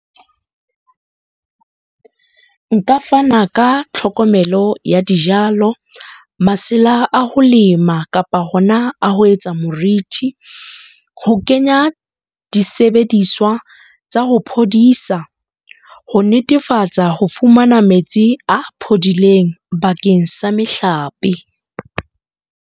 Nka fana ka tlhokomelo ya dijalo, masela a ho lema kapa hona a ho etsa morithi, ho kenya disebediswa tsa ho phodisa, ho netefatsa ho fumana metsi a phodileng bakeng sa mehlape.